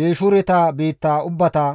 Geeshureta biitta ubbata,